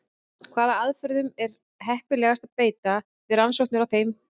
Hvaða aðferðum er heppilegast að beita við rannsóknir á þeim?